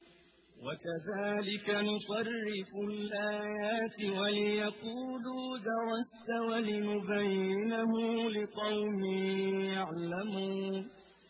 وَكَذَٰلِكَ نُصَرِّفُ الْآيَاتِ وَلِيَقُولُوا دَرَسْتَ وَلِنُبَيِّنَهُ لِقَوْمٍ يَعْلَمُونَ